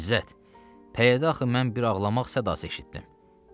İzzət, pəyədə axı mən bir ağlamaq sədası eşitdim.